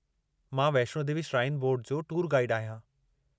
मां Vaishno Devi shrine board जो tour गाईडु आहियां।